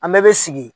An bɛɛ bɛ sigi